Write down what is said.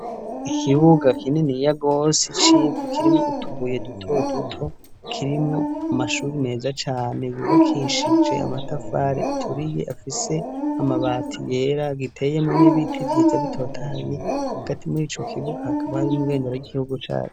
Ikibuga kininiya gose c'ivu kirimwo utubuye duto duto kirimwo amashuri meza cane yubakishije amatafari aturiye afise amabati yera giteyemwo n'ibiti vyiza bitotahaye hagati muri ico kibuga hakaba harimwo ibendera ry'igihugu cacu.